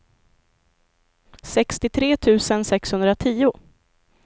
sextiotre tusen sexhundratio